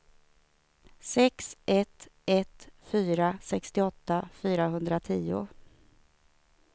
sex ett ett fyra sextioåtta fyrahundratio